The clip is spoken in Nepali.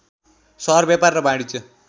सहर व्यापार र वाणिज्य